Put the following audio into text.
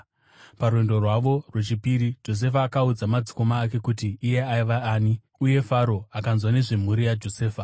Parwendo rwavo rwechipiri, Josefa akaudza madzikoma ake kuti iye aiva ani uye Faro akanzwa nezvemhuri yaJosefa.